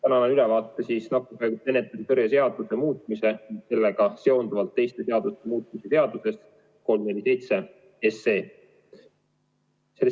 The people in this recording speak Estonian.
Annan siis ülevaate nakkushaiguste ennetamise ja tõrje seaduse muutmise ning sellega seonduvalt teiste seaduste muutmise seaduse eelnõust 347.